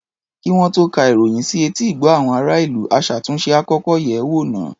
Kí wọ́n tó ka ìròyìn sí etí ìgbọ́ àwọn ará-ìlú, aṣàtúnṣe á kọ́kọ́ yẹ̀ ẹ́ wò náà.